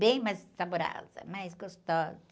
Bem mais saborosa, mais gostosa.